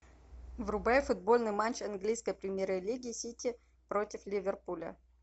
врубай футбольный матч английской премьер лиги сити против ливерпуля